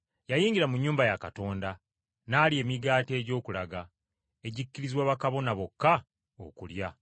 Yayingira mu nnyumba ya Katonda n’alya emigaati egy’okulaga, egikkirizibwa bakabona bokka okulya.